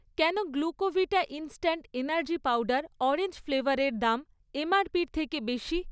কেন Glucovita instant energy powder orange ফ্লেভারের দাম এমআরপির থেকে বেশি?